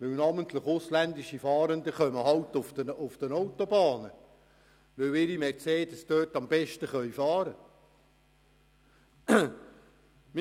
Namentlich die ausländischen Fahrenden kommen halt auf Autobahnen, weil ihre Mercedes-Fahrzeuge dort am besten fahren können.